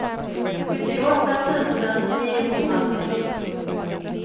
sjuttioåtta tusen niohundratrettio